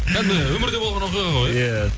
кәдімгі өмірде болған оқиға ғой иә